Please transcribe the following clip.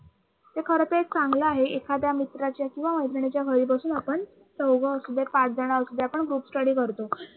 ते खरं तेच चांगलं आहे. एखाद्या मित्राच्या किंवा मैत्रिणीच्या घरी बसून आपण चौघ असू दे पाच जण असू दे आपण groupstudy करतो.